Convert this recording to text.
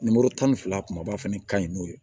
Nimoro tan ni fila kumaba fɛnɛ ka ɲi n'o ye